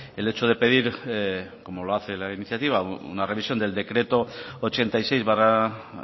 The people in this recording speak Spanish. el hecho de pedir como lo hace la iniciativa una revisión del decreto ochenta y seis barra